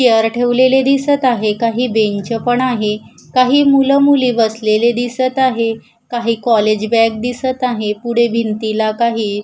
chair ठेवलेले दिसत आहे काही बेंच पण आहे काही मुलं मुली बसलेले दिसत आहे काही कॉलेज बॅग दिसत आहे पुढे भिंतीला काही--